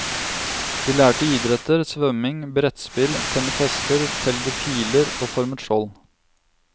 De lærte idretter, svømming, brettspill, temmet hester, telgde piler og formet skjold.